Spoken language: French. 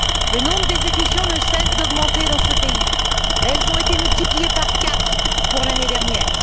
Le nombre d'exécutions ne cesse d'augmenter dans ce pays elles ont été multipliées par quatre l'année dernière.